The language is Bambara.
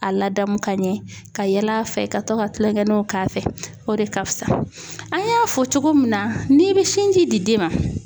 A ladamu ka ɲɛ ka yɛlɛ a fɛ ka to ka kulonkɛninw k'a fɛ o de ka fusa an y'a fɔ cogo min na n'i bɛ sinji di den ma